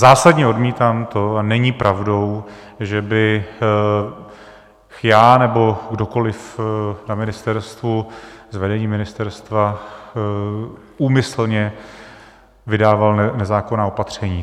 Zásadně odmítám to, a není pravdou, že bych já nebo kdokoli na ministerstvu z vedení ministerstva úmyslně vydával nezákonná opatření.